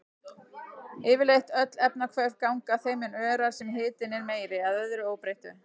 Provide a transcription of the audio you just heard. Yfirleitt öll efnahvörf ganga þeim mun örar sem hitinn er meiri, að öðru óbreyttu.